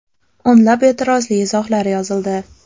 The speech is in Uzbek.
O‘nlab e’tirozli izohlar yozildi.